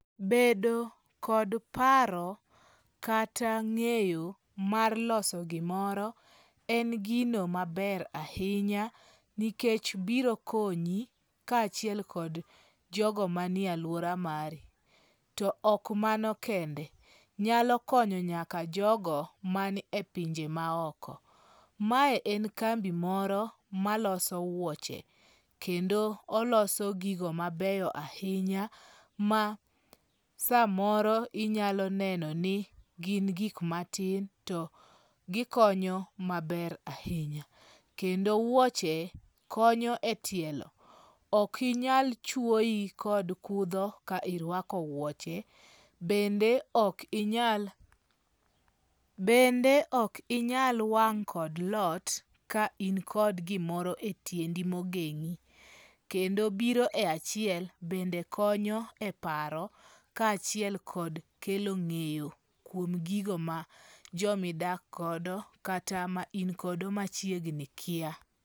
Bedo kod paro kata nge'yo mar loso gimoro en gino maber ahinya nikech biro konyi kachiel kod jogo manie e aluora mari, to ok mano kende nyalo konyo nyaka jogo manie pinje maoko, mae en kambi moro maloso wuoche, kendo oloso gigo mabeyo ahinya ma samoro inyalo neno ni gin gik matin to gikonyo maber ahinya, kendo wuoche konyo e tielo okinyal chuoi kod kutho ka irwako wuoche bende okinyal bende okinyal wang' kod lot ka in kod gimoro e tiendi mogengi', kendo biro e achiel bende konyo e paro kachiel kod kelo nge'yo kuom gigo ma jomidak godo kata ma ingodo machiegni kia.